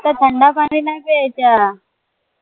आता थंड पाणी नाही प्यायचा